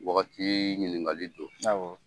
Wagati ɲinikali don. Awɔ.